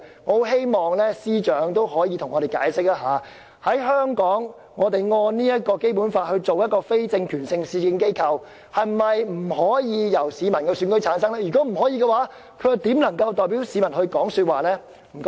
我很希望司長可以向我們解釋，在香港，我們按《基本法》來設立非政權性的市政機構，機構成員是否不可以由市民選舉產生，如否，這機構怎能代表市民發聲。